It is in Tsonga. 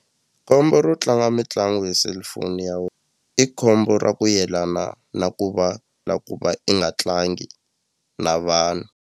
Khombo ro tlanga mitlangu hi selufoni ya i khombo ra ku yelana na ku va na ku va i nga tlangi na vanhu.